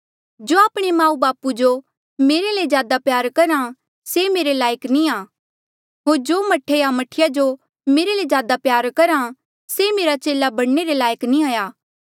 जो आपणे माऊबापू जो मेरे ले ज्यादा प्यारा करहा से मेरे लायक नी आ होर जो मह्ठे या मह्ठीया जो मेरे ले ज्यादा प्यारा करहा से मेरा चेला बणने रे लायक नी हाया